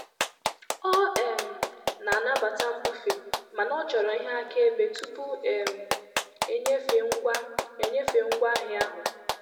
Ọ um na-anabata mbufe mana ọ chọrọ ihe akaebe tupu um enyefee ngwa enyefee ngwa ahịa ahụ.